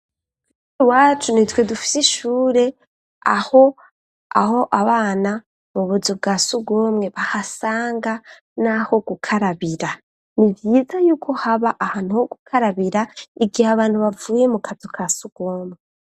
Iwacu nitwe dufise ishure aho abana mu buzu bwa sugumwe bahasanga n'aho gukarabira ni vyiza y'uko haba ahantu ho gukarabira igihe abantu bavuye mu kazu kasugumwe